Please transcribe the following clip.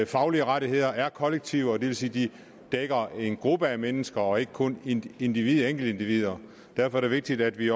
faglige rettigheder er kollektive og det vil sige at de dækker en gruppe af mennesker og ikke kun enkeltindivider enkeltindivider derfor er det vigtigt at vi